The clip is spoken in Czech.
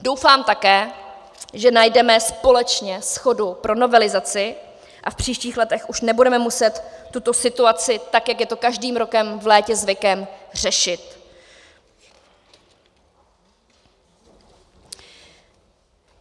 Doufám také, že najdeme společně shodu pro novelizaci a v příštích letech už nebudeme muset tuto situaci, tak jak je to každým rokem v létě zvykem, řešit.